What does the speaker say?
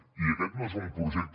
i aquest no és un projecte